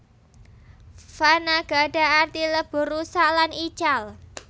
Fana gadah arti lebur rusak lan ical